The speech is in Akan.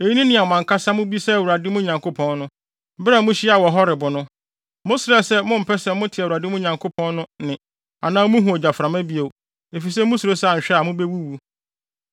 Eyi ne nea mo ankasa mobisaa Awurade, mo Nyankopɔn no, bere a muhyiaa wɔ Horeb no. Mosrɛɛ sɛ mompɛ sɛ mote Awurade, mo Nyankopɔn no, nne anaa muhu ogyaframa bio, efisɛ musuro sɛ anhwɛ a, mubewuwu.